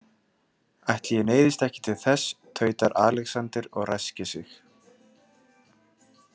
Ætli ég neyðist ekki til þess, tautar Alexander og ræskir sig.